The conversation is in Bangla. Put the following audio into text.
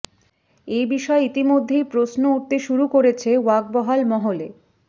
এ বিষয়ে ইতিমধ্যেই প্রশ্ন উঠতে শুরু করেছে ওয়াকবহাল মহলে